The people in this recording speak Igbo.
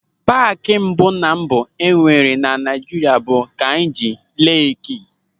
Paaki mbụ ná mbụ enwere na Naịjirịa bụ Kainji Leekị.